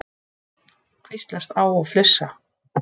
Hvíslast á og flissa.